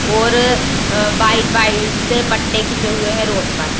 और white - white से पट्टे खींचे हुए हैं रोड पर।